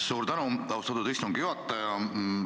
Suur tänu, austatud istungi juhataja!